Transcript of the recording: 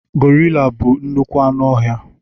Gorila bụ nnukwu anụ ọhịa.